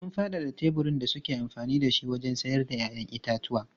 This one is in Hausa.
Sun faɗaɗa teburin da suke amfani da shi wajen sayar da 'ya'yan itatuwa.